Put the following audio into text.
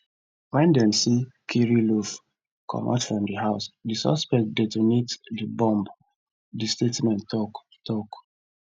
wen dem see kirillov comot from di house di suspect detonate di bomb di statement tok tok